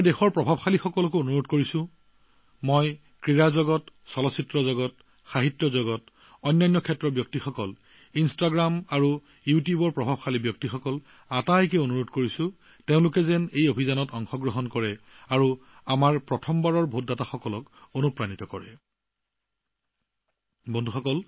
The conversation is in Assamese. ক্ৰীড়া জগতৰেই হওক চলচ্চিত্ৰ জগতৰেই হওক সাহিত্য জগতৰেই হওক বা আন যিকোনো পেছাদাৰী ব্যক্তি হওক বা আমাৰ ইনষ্টাগ্ৰাম আৰু ইউটিউব প্ৰভাৱশালী ব্যক্তিসকলেও দেশৰ প্ৰভাৱশালীসকলক এই অভিযানত অধিক পৰিসৰত অংশগ্ৰহণ কৰিবলৈ আৰু প্ৰথমবাৰৰ বাবে ভোট দিবলগীয়া ভোটাৰসকলক প্ৰেৰণা যোগাবলৈ আহ্বান জনাইছো